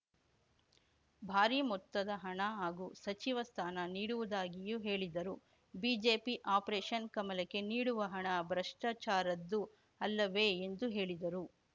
ಭಾರಿ ಮೊತ್ತದ ಹಣ ಹಾಗೂ ಸಚಿವ ಸ್ಥಾನ ನೀಡುವುದಾಗಿಯೂ ಹೇಳಿದ್ದರು ಬಿಜೆಪಿ ಆಪರೇಷನ್‌ ಕಮಲಕ್ಕೆ ನೀಡುವ ಹಣ ಭ್ರಷ್ಟಾಚಾರದ್ದು ಅಲ್ಲವೇ ಎಂದು ಹೇಳಿದರು